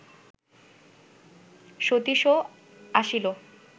সতীশও আসিল